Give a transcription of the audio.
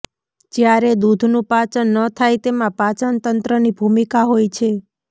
જ્યારે દૂધનું પાચન ન થાય તેમાં પાચનતંત્રની ભૂમિકા હોય છે